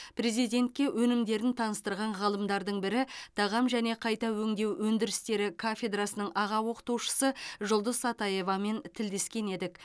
президентке өнімдерін таныстырған ғалымдардың бірі тағам және қайта өңдеу өндірістері кафедрасының аға оқытушысы жұлдыз сатаевамен тілдескен едік